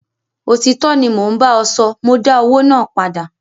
Òtítọ́ ni mo ń bá ọ sọ, mọ dá owó náà padà.